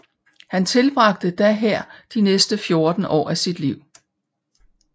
Han tilbragte da her de næste 14 år af sit liv